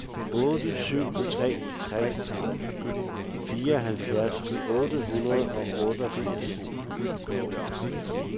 otte syv tre tre fireoghalvfjerds otte hundrede og otteogfirs